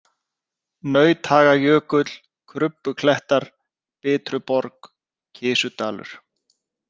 Nauthagajökull, Krubbuklettar, Bitruborg, Kisudalur